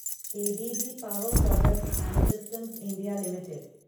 A B B power products and systems India limited